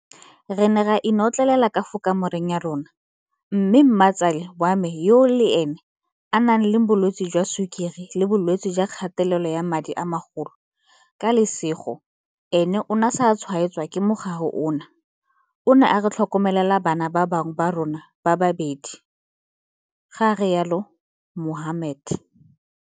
Re ne ra inotlelela ka fa kamoreng ya rona, mme mmatsale wa me yo le ene a nang le bolwetse jwa sukiri le bolwetse jwa kgatelelo ya madi a magolo ka lesego ene o ne a sa tshwaetswa ke mogare ono o ne a re tlhokomelela bana ba bangwe ba rona ba le babedi, ga rialo Mohammed.